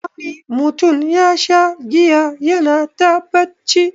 Wani mutum yasha giya yana ta bacci.